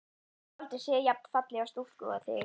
Ég hef aldrei séð jafn fallega stúlku og þig.